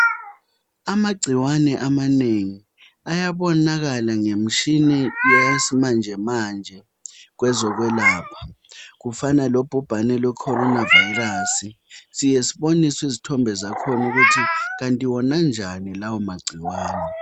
Amagcikwane amanengi ayabonakala ngemishini yasimanjemanje kwezokwelapha kufana lobhobhane lwe corona virus siyake siboniswe izithombe zakhona ukuthi kanti wona anjani lawo magcikwane.